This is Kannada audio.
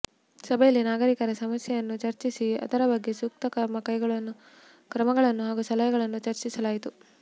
ಸಭೆಯಲ್ಲಿ ನಾಗರಿಕರ ಸಮಸ್ಯೆಯನ್ನು ಚರ್ಚಿಸಿ ಅದರ ಬಗ್ಗೆ ಸೂಕ್ತ ಕ್ರಮಗಳನ್ನು ಹಾಗೂ ಸಲಹೆಗಳನ್ನು ಚರ್ಚಿಸಲಾಯಿತು